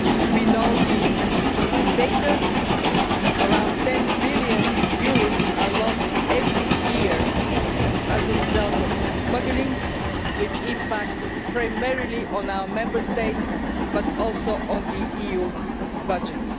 We know the data around EUR 10 billion are lost every year as a result of smuggling, which impacts primarily on our Member States but also on the EU budget.